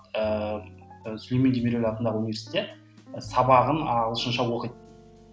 ііі сүлеймен демирель атындағы университетте сабағын ағылшынша оқиды